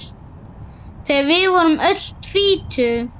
Þegar við vorum öll tvítug.